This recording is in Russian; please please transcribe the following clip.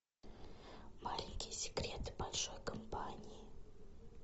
маленькие секреты большой компании